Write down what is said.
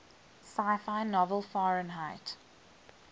sci fi novel fahrenheit